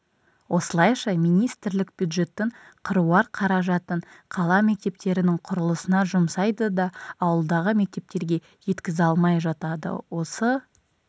осылайша министрлік бюджеттің қыруар қаражатын қала мектептерінің құрылысына жұмсайды да ауылдағы мектептерге жеткізе алмай жатады осы